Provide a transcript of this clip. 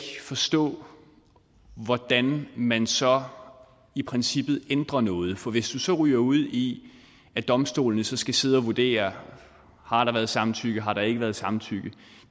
forstå hvordan man så i princippet ændrer noget for hvis du ryger ud i at domstolene skal sidde og vurdere har der været samtykke eller har der ikke været samtykke